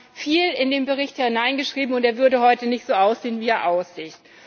Wir haben viel in den Bericht hineingeschrieben, und er würde heute nicht so aussehen wie er aussieht.